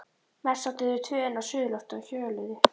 Mest sátu þau tvö inni á suðurlofti og hjöluðu.